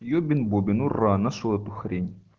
ёбен бобен ура нашёл эту хрень